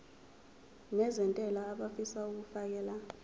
nezentela abafisa uukfakela